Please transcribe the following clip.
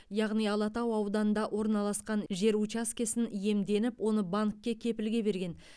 яғни алатау ауданында орналасқан жер учаскесін иемденіп оны банкке кепілге берген